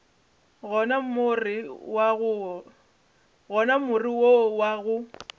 gona more wo wa go